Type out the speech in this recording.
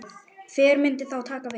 Hver myndi þá taka við?